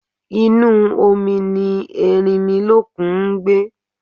Inú omi ni Erinmilókun ngbé